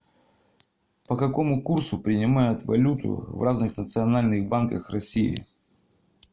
по какому курсу принимают валюту в разных национальных банках россии